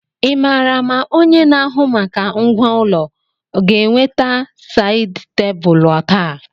Ị maara ma onye na-ahụ maka ngwá ụlọ ga-eweta sáyid tebụlu taa?